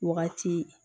Wagati